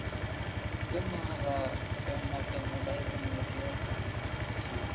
Gunnharða, hvenær kemur leið númer fjörutíu?